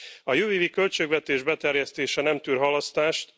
A jövő évi költségvetés beterjesztése nem tűr halasztást.